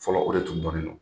Fɔlɔ o de tun dɔnnen don.